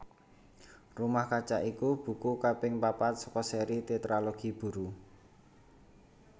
Rumah Kaca iku buku kaping papat saka séri Tétralogi Buru